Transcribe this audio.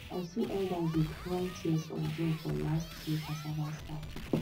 i see elders dey cry tears of joy for last years cassava party